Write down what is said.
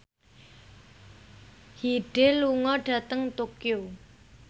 Hyde lunga dhateng Tokyo